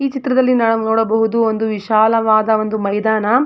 ಈ ಚಿತ್ರದಲ್ಲಿ ನಾವು ನೋಡಬಹುದು ಒಂದು ವಿಶಾಲವಾದ ಒಂದು ಮೈದಾನ.